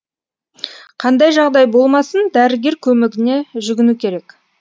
қандай жағдай болмасын дәрігер көмегіне жүгіну керек